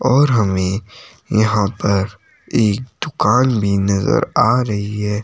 और हमें यहां पर एक दुकान भी नजर आ रही है।